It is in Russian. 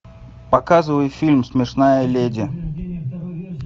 показывай фильм смешная леди